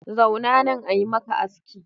Zauna na ayi maka aski.